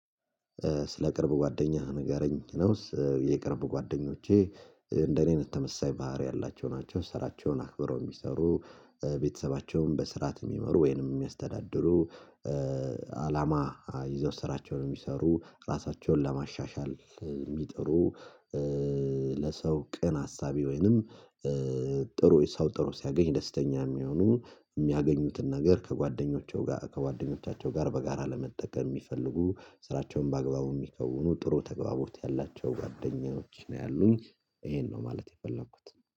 ስለ ቅርብ ጓደኛህ ንገረኝ ነው የቅርብ ጓደኞቼ እንደኔ ነው የተመሳሳይ ባህሪ ያላቸው ናቸው ስራቸውን አክብረው የሚሰሩ ቤተሰባቸውን በስርዓት የሚመሩ ወይንም የሚያስተዳድሩ ይዘው ስራቸውን የሚሰሩ ራሳቸውን ለማሻሻል የሚጥሩ ቀን አሳቢ ወይንም ጥሩ ሰው ጥሩ ሲያገኝ ደስተኛ የሚሆኑ የሚያገኙትን ነገር ከጓደኞቻቸው ጋር ከጓደኞቻቸው ጋር በጋራ ለመጠቀም የሚፈልጉ ስራቸውን በአግባቡ የሚከውኑ ጥሩ ተግባቦት ያላቸው ጓደኞች ነው ያሉኝ ይሄን ነው ማለት የፈለኩት